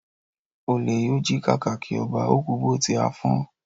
Olè yóò jí kàkàkí ọba, ó kú bó tí á fọ́n